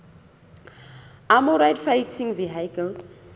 armoured fighting vehicles